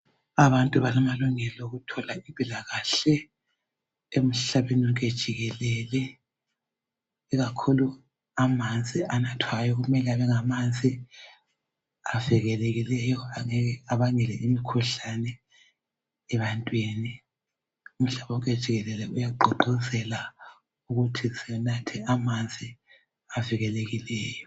Abantu balamalungelo okuthola impilakahle emhlabeni wonke jikelele ikakhulu amanzi anathwayo kumele kubengamanzi avikelekileyo angeke abangele imikhuhlane ebantwini. Umhlaba wonke jikelele uyagqugquzelwa ukuthi sinathe amanzi avikelekileyo.